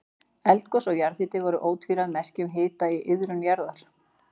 Eldgos og jarðhiti voru ótvíræð merki um hita í iðrum jarðar.